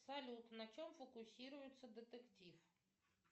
салют на чем фокусируется детектив